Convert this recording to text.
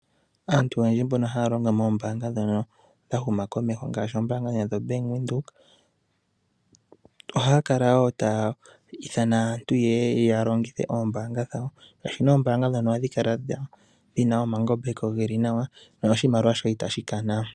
Aantu oyendji mbono haya longo moombaanga ndhono dha huma komeho, ngaashi ombaanga yoBank Windhoek, ohaya kala wo taya ithana aantu yeye ya longithe oombaanga dhawo. Oombaanga ndhono ohadhi kala dhina omangambeko ge li nawa, ano oshimaliwa shoye itashi kana.